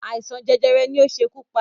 Àìsàn jẹjẹrẹ ni ó ṣekú pá